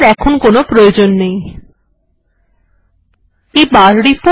এটির কোনো প্রয়োজন নেই তাই এটিকে বন্ধ করা যাক